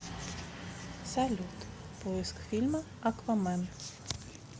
салют поиск фильма аквамен